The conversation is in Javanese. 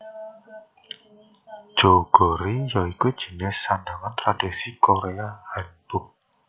Jeogori ya iku jinis sandhangan tradisional Korea Hanbok